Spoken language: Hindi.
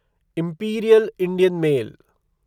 imperial Indian mail